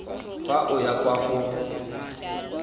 fa o ya kwa go